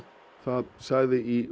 það sagði í